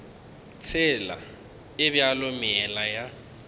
tsela e bjalo meela ya